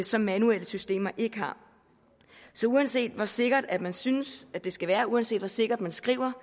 som manuelle systemer ikke har så uanset hvor sikkert man synes det skal være uanset hvor sikkert man skriver